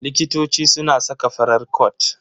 Likitoci suna saka farar cot.